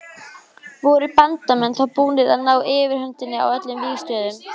Voru Bandamenn þá búnir að ná yfirhöndinni á öllum vígstöðvum.